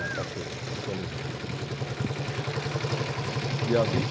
Uma caixa de cerveja, muita alegria. Dia vinte